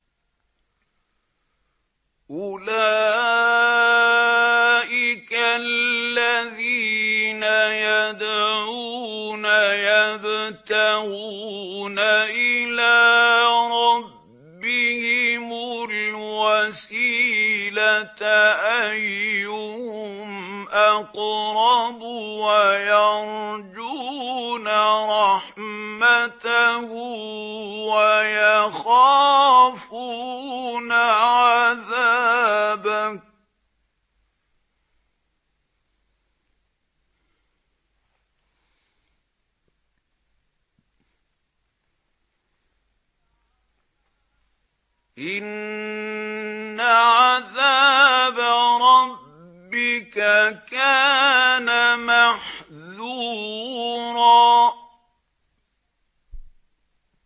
أُولَٰئِكَ الَّذِينَ يَدْعُونَ يَبْتَغُونَ إِلَىٰ رَبِّهِمُ الْوَسِيلَةَ أَيُّهُمْ أَقْرَبُ وَيَرْجُونَ رَحْمَتَهُ وَيَخَافُونَ عَذَابَهُ ۚ إِنَّ عَذَابَ رَبِّكَ كَانَ مَحْذُورًا